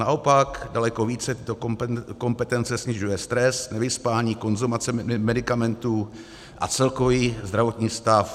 Naopak daleko více tyto kompetence snižuje stres, nevyspání, konzumace medikamentů a celkový zdravotní stav.